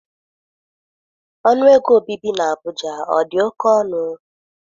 Ọnụ ego obibi na Abuja ọ dị oke ọnụ?